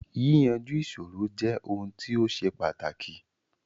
Yíyanju ìṣòro jẹ ohun ti ó ṣe pàtàkì